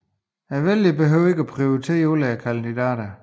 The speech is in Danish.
Vælgerne behøver ikke at prioritere alle kandidaterne